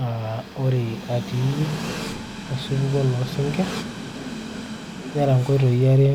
aa ore atii osupuko loo sinkirr nera nkoitoi are